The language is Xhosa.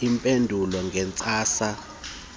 iphendulwe ngeentsasa zemivulo